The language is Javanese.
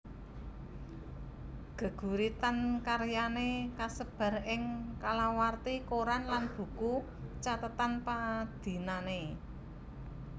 Gêguritan karyané kasêbar ing kalawarti koran lan buku cathêtan padinané